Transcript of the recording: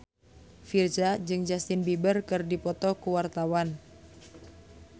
Virzha jeung Justin Beiber keur dipoto ku wartawan